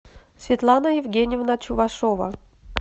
светлана евгеньевна чувашова